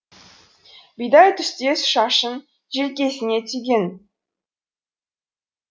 бидай түстес шашын желкесіне түйген